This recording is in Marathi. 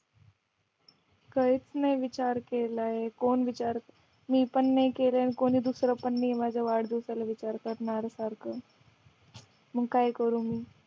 काहीच नाही नाही विचार केलाय कोण विचार मी पण नाय केला कोणी दुसरं पण नाय माझ्या वाढदिवसाला विचार करणाऱ्या सारखं मग काय करू मी